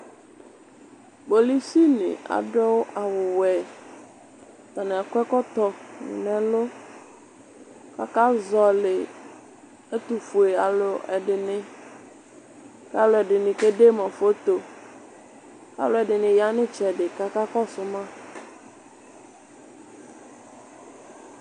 Kpolusi nɩ asu awuwɛ Atani akɔ ɛkɔtɔ nʋ ɛlʋ Kʋ akazɔlɩ ɛtʋfue alu dɩnɩ Kʋ alu ɛdɩnɩ kede ma foto, kʋ alu ɛdɩnɩ ya nʋ ɩtsɛdɩ kʋ akakɔsʋ ma